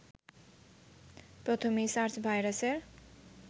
প্রথম এই সার্স ভাইরাসের